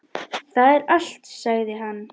Það er allt, sagði hann.